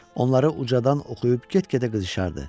Onları ucadan oxuyub get-gedə qızışırdı.